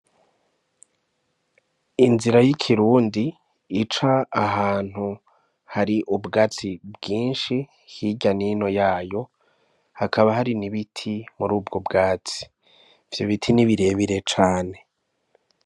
Inzira y' ikirundi ica ahantu hari ubwatsi bwinshi hirya n' ino yayo hakaba hari n' ibiti muri ubwo bwatsi, ivyo biti ni bire bire cane.